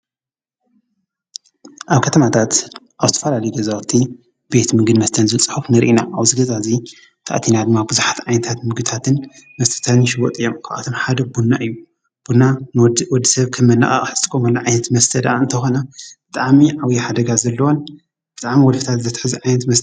ኣብ ከተማታት ኣብ ዝተፈላለዩ ገዛውቲ ቤት ምግብን መስተን ዝብል ፅሑፍ ንሪኢ ኢና። ኣብዚ ገዛ እዙይ እንተኣትናዮ ድማ ብዛሓት ዓይነታት ምግብታት መስተታትን ይሽወጡ እዮም፡።ካብኣቶም ሓደ ቡና እዩ። ቡና ወዲ ሰብ ከም መነቓቕሒ ዝጥቀመሉ ዓይነት መስተዳኣም ተኾነ ብጣዕሚ ዓብይ ሓደጋ ዘለዎን ብጣዕሚ ወልፍታት ዘትሕዝ ዓይነት መስተ።